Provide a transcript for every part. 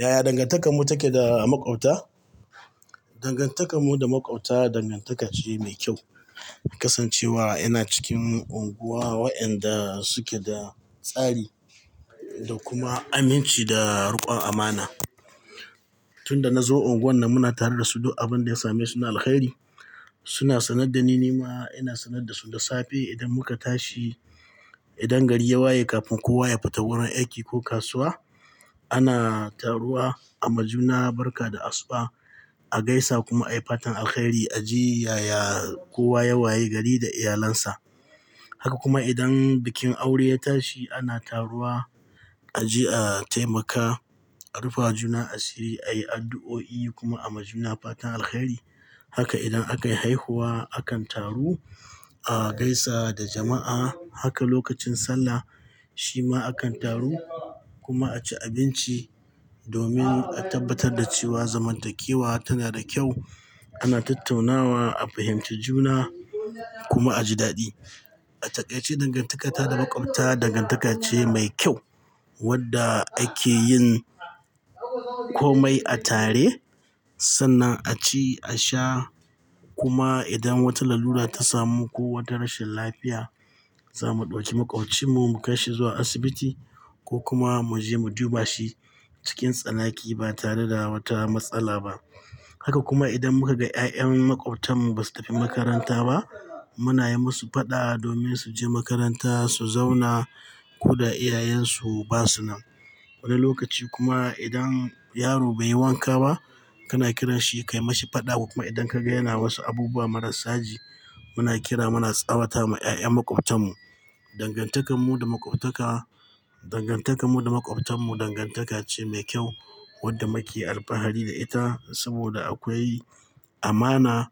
Yaya dangantakarmu take da makwabta? Dangantakarmu da makwabta dangantaka ce mai kyau. Kasancewa ina cikin unguwa waɗanda suke da tsari da kuma aminci da riƙon amana. Tun da na zo unguwar nan muna tare da su duk abin da ya same su na alheri. Suna sanar da ni, ni ma ina sanar da su. Da safe idan muka tashi, idan gari ya waye kafin kowa ya fita wurin aiki ko kasuwa ana taruwa a majuna barka da asuba, a gaisa kuma a yi fatan alheri. A ji yaya kowa ya waye gari da iyalinsa. Haka kuma idan bikin aure ya tashi ana taruwa a je a taimaka, a rufa wajuna asiri, a yi addu'o'i kuma a majuna fatan alheri. Haka idan aka yi haihuwa akan taru a gaisa da jama'a. Haka lokacin sallah shi ma akan taru kuma a ci abinci domin a tabbatar da cewa zamantakewa tana da kyau. Ana tattaunawa, a fahimci juna kuma a ji daɗi. A takai ce dangantakata da makwabta dangantaka ce mai kyau wadda ake yin komai a tare. Sannan a ci, a sha kuma idan wata lalura ta samu ko wata rashin lafiya, za mu ɗauki maƙwabcinmu mu kai shi zuwa asibiti ko kuma mu je mu juba shi cikin tsanaki ba tare da wata matsala ba. Haka kuma idan muka ga 'ya'yan maƙwabtanmu ba su tafi makaranta ba muna yi musu faɗawa domin su je makaranta, su zauna ko da iyayensu ba su nan. Wani lokaci kuma idan yaro bai yi wanka ba kana kiranshi kai mashi faɗa. Kuma idan ka ga yana wasu abubuwa marar saji muna kira muna tsawata ma 'ya'yan makwabtanmu. Dangantakar mu da makwabtaka-- dangantakar mu da makwabtanmu dangantaka ce mai kyau wadda muke alfahari da ita. Saboda akwai amana,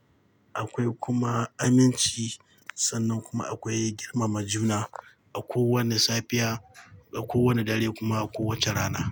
akwai kuma aminci. Sannan kuma akwai girmama juna a kowane safiya, a kowane dare kuma a kowace rana.